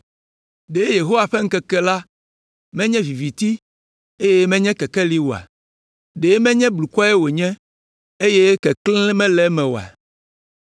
Ɖe Yehowa ƒe ŋkeke la menye viviti, eye menye kekeli oa? Ɖe menye blukɔe wònye, eye keklẽ mele eme oa?